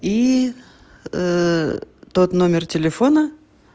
и тот номер телефона